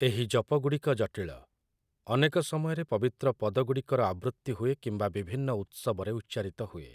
ଏହି ଜପଗୁଡ଼ିକ ଜଟିଳ । ଅନେକ ସମୟରେ ପବିତ୍ର ପଦଗୁଡ଼ିକର ଆବୃତ୍ତି ହୁଏ କିମ୍ବା ବିଭିନ୍ନ ଉତ୍ସବରେ ଉଚ୍ଚାରିତ ହୁଏ ।